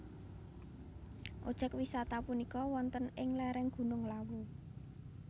Obyek wisata punika wonten ing lereng Gunung Lawu